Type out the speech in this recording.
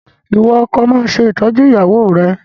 Ìwọ ọkọ, máa ṣe ìtọ́jú ìyàwó rẹ̀!